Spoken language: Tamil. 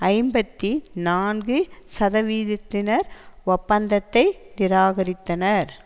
ஐம்பத்தி நான்கு சதவிதத்தினர் ஒப்பந்தத்தை நிராகரித்தனர்